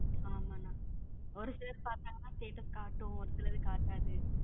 ஆமா அண்ணா ஒரு சிலிர் பாதங்கான status காட்டும் ஒரு சிலருக்கு காட்டது.